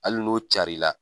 Hali n'o carin la